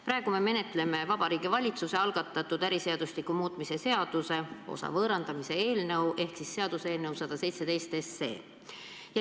Praegu me menetleme Vabariigi Valitsuse algatatud äriseadustiku muutmise seaduse eelnõu ehk seaduseelnõu 117.